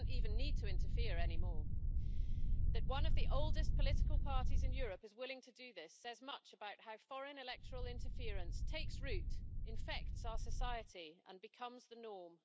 He doesn't even need to interfere any more. That one of the oldest political parties in Europe is willing to do this, says much about how foreign electoral interference takes root, infects our society and becomes the norm.